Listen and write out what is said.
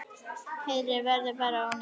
Heyið verður bara ónýtt.